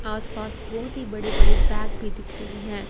आस पास बहोत ही बड़े बड़े पैक भी दिख रही है।